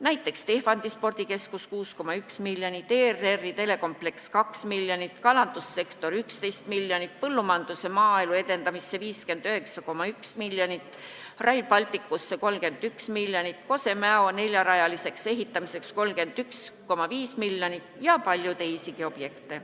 Näiteks Tehvandi spordikeskus – 6,1 miljonit, ERR-i telekompleks – 2 miljonit, kalandussektor – 11 miljonit, põllumajanduse ja maaelu edendamine – 59,1 miljonit, Rail Baltic – 31 miljonit, Kose–Mäo lõigu neljarajaliseks ehitamine – 31,5 miljonit ja palju teisigi objekte.